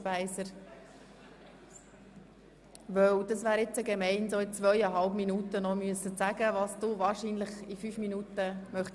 Dies, weil es nicht fair wäre, wenn Sie nun in zweieinhalb Minuten sagen müssten, was Sie wahrscheinlich gern in fünf Minuten sagen würden.